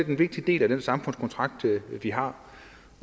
en vigtig del af den samfundskontrakt vi har